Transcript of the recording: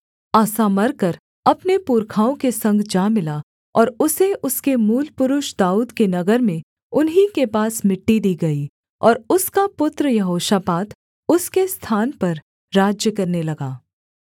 आसा मरकर अपने पुरखाओं के संग जा मिला और उसे उसके मूलपुरुष दाऊद के नगर में उन्हीं के पास मिट्टी दी गई और उसका पुत्र यहोशापात उसके स्थान पर राज्य करने लगा